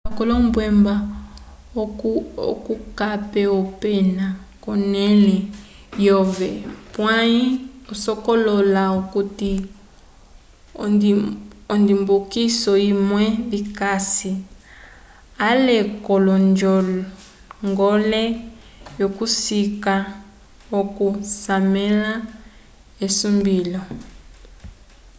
kala lombembwa oco okape opena konele yove pwayi sokolola okuti ondibukiso imwe vikasi ale ko njogole yo kusika oco casesamela esumbilo